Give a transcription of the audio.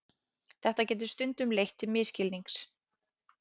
Þetta getur stundum leitt til misskilnings.